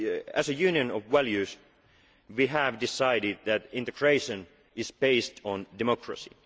Europe. As a Union of values, we have decided that integration is based on democracy.